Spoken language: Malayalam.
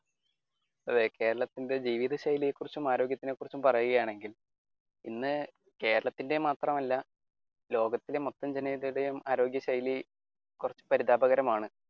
അതെ കേരളത്തിന്റെ ജീവിതശൈലിയെക്കുറിച്ചും ആരോഗ്യത്തെ കുറിച്ച് പറയുകയാണെങ്കിൽ ഇന്ന് കേരളത്തിന്റെ മാത്രമല്ല ലോകത്തിന്റെ മൊത്ത ജനങ്ങളുടെയും ആരോഗ്യ ശൈലി കുറച്ചു പരിതാപകരമാണ്.